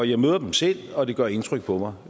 jeg møder dem selv og det gør indtryk på mig